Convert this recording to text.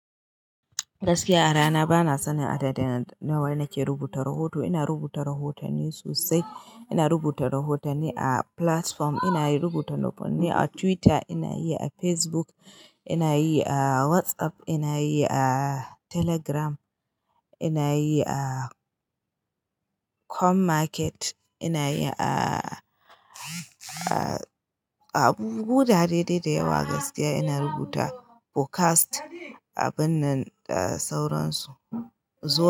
Gaskiya a rana bana sanin adadi na wanda nake rubuta rahoto. Ina rubuta rahotanni sosai. Ina rubuta rahotanni a platform, ina yi rubuta rahotanni a Twitter, ina yi a Facebook, ina yi a WhatsApp, ina yi a telegram, ina yi a Commarket, ina yi a, a abubu gurare dai da yawa gaskiya ina rubuta. Podcast, abun nan da sauransu. Zo.